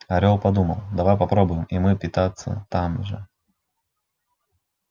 орёл подумал давай попробуем и мы питаться там же